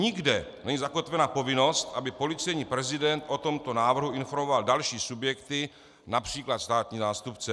Nikde není zakotvena povinnost, aby policejní prezident o tomto návrhu informoval další subjekty, například státní zástupce.